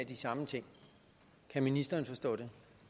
de samme ting kan ministeren forstå